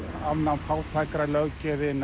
afnám